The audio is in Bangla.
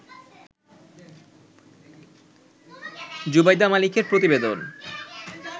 জুবাইদা মালিকের প্রতিবেদন